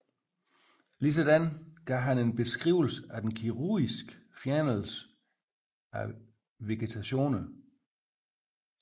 Ligeledes gav han en beskrivelse af den kirurgiske fjernelse af vegetationerne